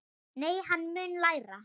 Nei, en hann mun læra.